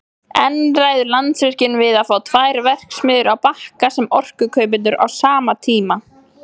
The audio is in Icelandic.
En ræður Landsvirkjun við að fá tvær verksmiðjur á Bakka sem orkukaupendur á sama tíma?